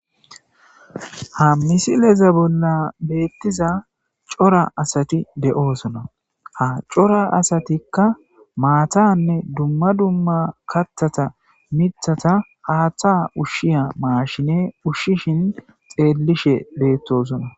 Ha misileza bolla beettiza cora asati de'oosona ha cora asatikka maatanne dumma dumma kattata mithata haaththa ushshiya maashine ushshishin xeellishe beettosona.